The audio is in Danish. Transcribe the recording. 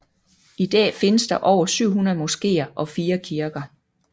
I dag findes der over 700 moskéer og 4 kirker